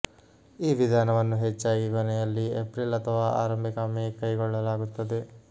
ಈ ವಿಧಾನವನ್ನು ಹೆಚ್ಚಾಗಿ ಕೊನೆಯಲ್ಲಿ ಏಪ್ರಿಲ್ ಅಥವಾ ಆರಂಭಿಕ ಮೇ ಕೈಗೊಳ್ಳಲಾಗುತ್ತದೆ